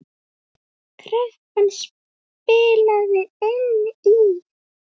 Kreppan spilaði inn í.